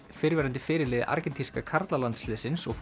fyrrverandi fyrirliði karlalandsliðsins og